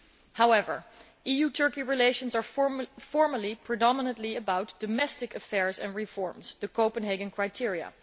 However, EU Turkey relations are, formally, predominantly about domestic affairs and reforms the Copenhagen criteria.